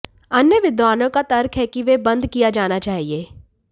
अन्य विद्वानों का तर्क है कि वे बंद किया जाना चाहिए